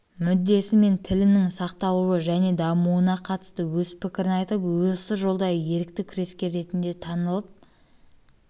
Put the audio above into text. мен тілінің сақталуы және дамуына қатысты өз пікірін айтып осы жолды ерікті күрескер ретінде танылып